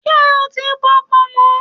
Ṣé o ti bọ pọ̀nmọ́?